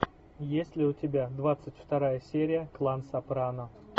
есть ли у тебя двадцать вторая серия клан сопрано